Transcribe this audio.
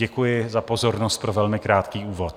Děkuji za pozornost pro velmi krátký úvod.